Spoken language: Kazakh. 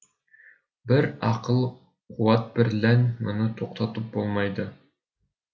бір ақыл қуатбірлән мұны тоқтатып болмайды